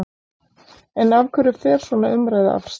En af hverju fer svona umræða af stað?